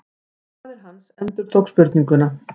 Faðir hans endurtók spurninguna.